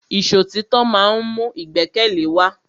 Ìṣọ̀títọ́ ma ń mú ìgbẹ́kẹ̀lé wa.